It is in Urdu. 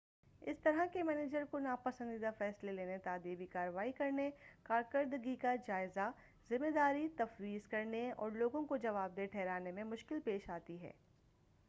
اس طرح کے منیجر کو ناپسندیدہ فیصلے لینے تادیبی کارروائی کرنے کارکرکردگی کا جائزہ ذمہ داری تفویض کرنے اور لوگوں کو جواب دہ ٹھہرانے میں مشکل پیش آتی ہے